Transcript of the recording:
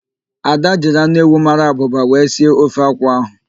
Ada jiri anụ ewu mara abụba wee sie ofe akwụ ahụ.